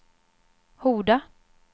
Horda